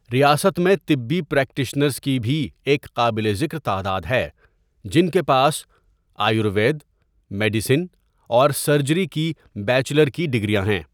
ریاست میں طبی پریکٹیشنرز کی بھی ایک قابل ذکر تعداد ہے جن کے پاس آیوروید، میڈیسن اور سرجری کی بیچلر کی ڈگریاں ہیں۔